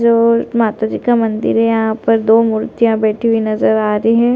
और माताजी का मंदिर है यहाँ पर दो मूर्तियाँ बैठी हुई नजर आ रही हैं ।